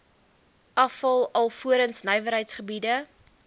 afval alvorens nywerheidsgebiede